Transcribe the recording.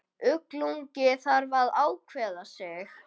Illugi þarf að ákveða sig.